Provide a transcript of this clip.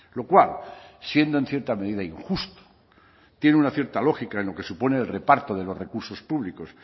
lo cual siendo en cierta medida injusto tiene una cierta lógica en lo que supone el reparto de los recursos públicos